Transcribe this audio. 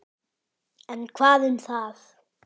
En hvað um það